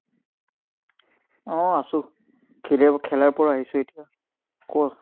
উম আছো। খেলাৰ পৰা আহিছো, এতিয়া। কোৱা?